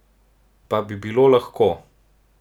Pa bi bilo lahko?